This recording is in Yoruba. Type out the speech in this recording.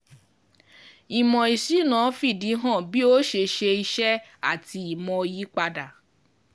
Ìmò ìsúná fìdí hàn bí ó ṣe ṣe iṣẹ́ àti ìmò yípadà.